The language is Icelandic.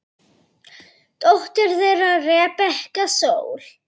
Dóttir þeirra Rebekka Sól.